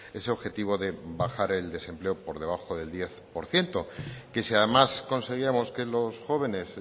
ese objetivo de bajar el desempleo por debajo del diez por ciento que si además conseguíamos que los jóvenes